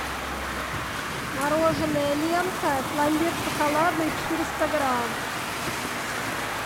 мороженое лента пломбир шоколадный четыреста грамм